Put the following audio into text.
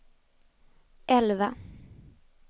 elva